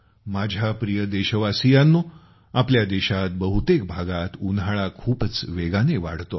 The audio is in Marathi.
माझ्या प्रिय देशवासियांनो आपल्या देशात बहुतेक भागात उन्हाळा खूपच वेगाने वाढतो आहे